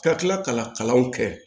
Ka tila ka kalanw kɛ